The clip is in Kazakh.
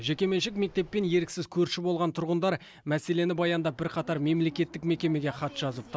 жекеменшік мектеппен еріксіз көрші болған тұрғындар мәселені баяндап бірқатар мемлекеттік мекемеге хат жазыпты